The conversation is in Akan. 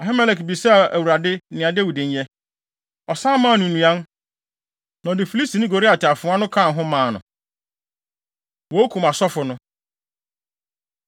Ahimelek bisaa Awurade nea Dawid nyɛ. Ɔsan maa no nnuan, na ɔde Filistini Goliat afoa no kaa ho maa no.” Wokum Asɔfo No